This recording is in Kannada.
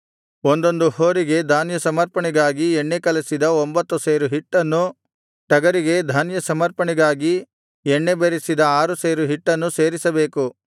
ಒಂದೊಂದು ಹೋರಿಗೆ ಧಾನ್ಯ ಸಮರ್ಪಣೆಗಾಗಿ ಎಣ್ಣೆ ಕಲಸಿದ ಒಂಭತ್ತು ಸೇರು ಹಿಟ್ಟನ್ನೂ ಟಗರಿಗೆ ಧಾನ್ಯ ಸಮರ್ಪಣೆಗಾಗಿ ಎಣ್ಣೆ ಬೆರಸಿದ ಆರು ಸೇರು ಹಿಟ್ಟನ್ನು ಸೇರಿಸಬೇಕು